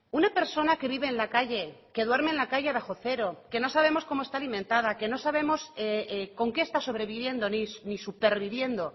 una persona que vive en la calle que duerme en la calle bajo cero que no sabemos cómo está alimentada que no sabemos con qué está sobreviviendo ni superviviendo